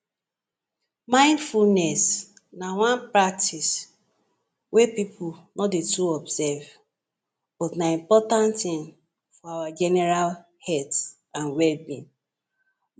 1 Mindfulness na one practice wey pipu no dey too observe but na important thing for our general health and well being.